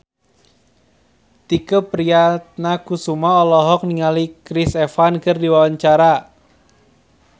Tike Priatnakusuma olohok ningali Chris Evans keur diwawancara